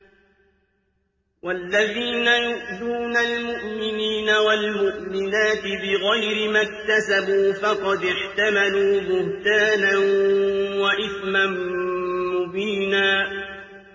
وَالَّذِينَ يُؤْذُونَ الْمُؤْمِنِينَ وَالْمُؤْمِنَاتِ بِغَيْرِ مَا اكْتَسَبُوا فَقَدِ احْتَمَلُوا بُهْتَانًا وَإِثْمًا مُّبِينًا